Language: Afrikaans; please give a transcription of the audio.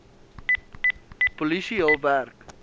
polisie hul werk